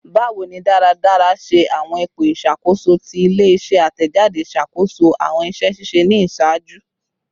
Bawo ni daradara ṣe awọn ipo iṣakoso ti ile-iṣẹ atẹjade ṣakoso awọn iṣẹ ṣiṣe ni iṣaaju?